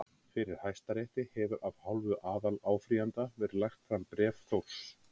Fyrir Hæstarétti hefur af hálfu aðaláfrýjanda verið lagt fram bréf Þórs